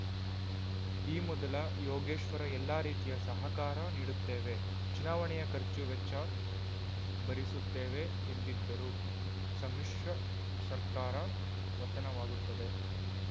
ಈ ಮೊದಲ ಯೋಗೇಶ್ವರ್‌ ಎಲ್ಲಾ ರೀತಿಯ ಸಹಕಾರ ನೀಡುತ್ತೇವೆ ಚುನಾವಣೆಯ ಖರ್ಚು ವೆಚ್ಚ ಭರಿಸುತ್ತೇವೆ ಎಂದಿದ್ದರು ಸಮ್ಮಿಶ್ರ ಸರ್ಕಾರ ಪತನವಾಗುತ್ತದೆ